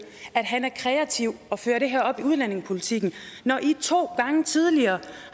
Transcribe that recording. at han er kreativ og fører det her op i udlændingepolitikken når i to gange tidligere